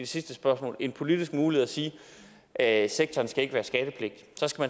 sidste spørgsmål en politisk mulighed at sige at sektoren ikke skal være skattepligtig